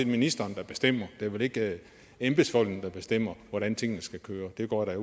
ministeren der bestemmer det er vel ikke embedsfolkene der bestemmer hvordan tingene skal køre det går jeg